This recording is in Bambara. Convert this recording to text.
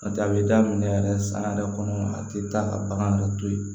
N'o tɛ a bɛ daminɛ yɛrɛ san yɛrɛ kɔnɔ a tɛ taa ka bagan dɔ to yen